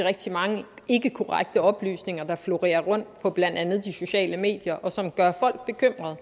rigtig mange ikkekorrekte oplysninger der florerer på blandt andet de sociale medier og som gør folk bekymrede